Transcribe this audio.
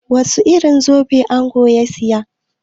Wasu irin zobe angon ya siya?